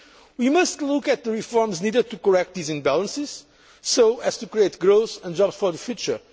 means. We must look at the reforms needed to correct these imbalances so as to create growth and jobs for the future.